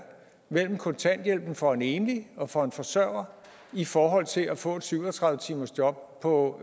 mellem kontanthjælpen for en enlig og for en forsørger i forhold til at få et syv og tredive timers job på